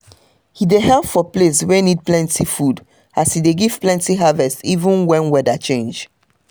e dey help for place wey need plenty food as e dey give plenty harvest even when weather change.